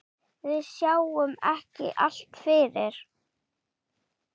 Við sáum ekki allt fyrir.